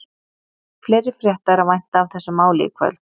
Fleiri frétta er að vænta af þessu máli í kvöld.